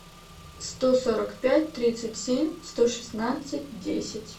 сто сорок пять тридцать семь сто шестнадцать десять